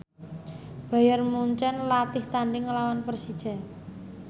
Bayern Munchen latih tandhing nglawan Persija